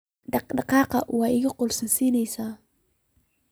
Dhadhkan way ikuqosleyn.